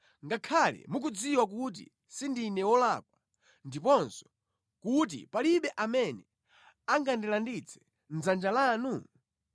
ngakhale mukudziwa kuti sindine wolakwa ndiponso kuti palibe amene angandilanditse mʼdzanja lanu?